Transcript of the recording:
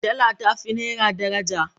Dala ta fi naira daraja.